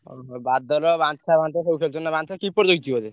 ଓହୋ ଦାଦର ବାଞ୍ଛା ଫାଞ୍ଛା ସବୁ ଖେଳୁଛନ୍ତି ନାଁ ବାଞ୍ଛା keeper ହେଇଛି ବୋଧେ?